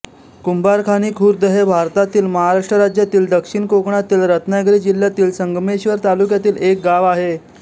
कुंभारखाणी खुर्द हे भारतातील महाराष्ट्र राज्यातील दक्षिण कोकणातील रत्नागिरी जिल्ह्यातील संगमेश्वर तालुक्यातील एक गाव आहे